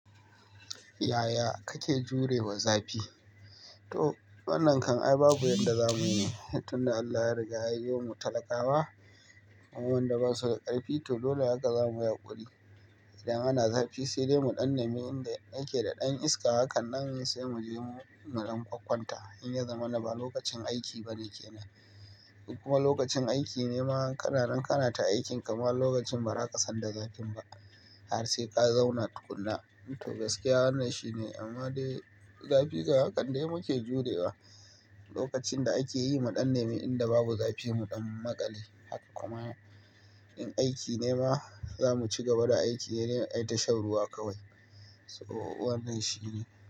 Yaya kake jurewa zafi? To wannan kan ai babu yadda zamuyi, tun da Allah ya riga ya yi mu talakawa, wadanda ba su da karfi, to dole haka zamuyi haƙuri. Idan ana zafi sai dai mu ɗan nemi inda yake da ɗan iska, hakan nan ne sai muje mu ɗankwakkwanta. In ya zamana ba lokacin aiki ba ne kenan. Kuma lokacin aiki ne ma, kana nan ka na ta aikinki ma wani lokacin bara ka san da zafin ba. Har sai ka zauna tukuna. To gaskiya wannan shi ne, amma dai zafi ga hakan dai muke jurewa. Lokacin da ake yi mu ɗan nemi inda babu zafi, mu ɗan maƙale haka kuma in aiki ne ma, zamu ci gaba da aiki ne dai, ayi tashar ruwa kawai. To wannan shi ne.